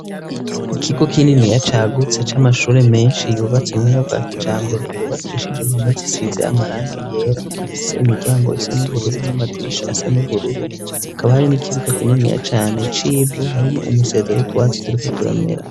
Ikigo kininiya cagutse c'amashuri menshi yubatse mu buryo bwa kijambere yubakishije impame zisize amarangi yera, afise imiryango isa n'ubururu n'amadirishi asa n'ubururu; hakaba hari n'ikibuga kininiya cane c'ivu, harimwo umusezero w'utwatsi turiko turamera.